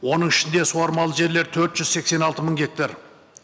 оның ішінде суармалы жерлер төрт жүз сексен алты мың гектар